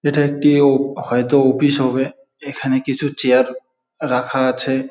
এটা একটি ও হয়তো অফিস হবে। এখানে কিছু চেয়ার রাখা আছে।